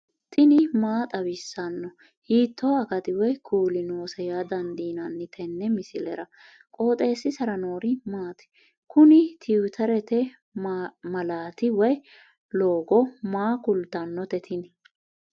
tini maa xawissanno ? hiitto akati woy kuuli noose yaa dandiinanni tenne misilera? qooxeessisera noori maati? kuni twiterete maalati woy logo maa kaa'litannote tini